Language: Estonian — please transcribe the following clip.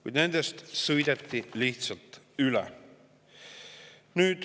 Kuid nendest sõideti lihtsalt üle.